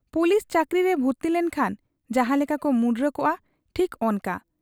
Police ᱪᱟᱹᱠᱨᱤᱨᱮ ᱵᱷᱩᱨᱛᱤᱞᱮᱱ ᱠᱷᱟᱱ ᱡᱟᱦᱟᱸ ᱞᱮᱠᱟ ᱠᱚ ᱢᱩᱸᱰᱨᱟᱹ ᱠᱚᱜ ᱟ, ᱴᱷᱤᱠ ᱚᱱᱠᱟ ᱾